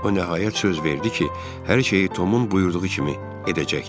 O nəhayət söz verdi ki, hər şeyi Tomun buyurduğu kimi edəcəkdir.